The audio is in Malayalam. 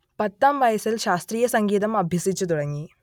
പത്താം വയസിൽ ശാസ്ത്രീയ സംഗീതം അഭ്യസിച്ചു തുടങ്ങി